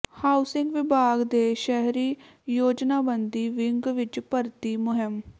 housing ਵਿਭਾਗ ਦੇ ਸ਼ਹਿਰੀ ਯੋਜਨਾਬੰਦੀ ਵਿੰਗ ਵਿੱਚ ਭਰਤੀ ਮੁਹਿੰਮ